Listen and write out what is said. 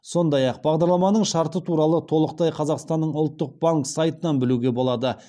сондай ақ бағдарламаның шарты туралы толықтай қазақстанның ұлттық банк сайтынан білуге болады